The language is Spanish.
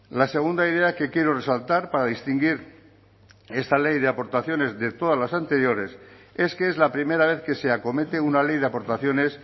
la segunda idea que quiero resaltar para distinguir esta ley de aportaciones de todas las anteriores es que es la primera vez que se acomete una ley de aportaciones